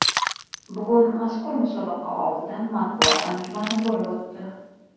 Bugun mazkur musobaqa oldidan matbuot anjumani bo‘lib o‘tdi.